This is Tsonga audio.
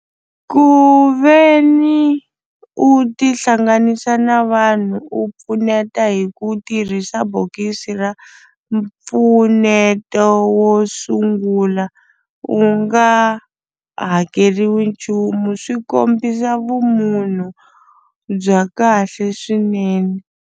Ku ve ni u tihlanganisa na vanhu u pfuneta hi ku tirhisa bokisi ra mpfuneto wo sungula u nga hakeriwi nchumu swi kombisa vumunhu bya kahle swinene.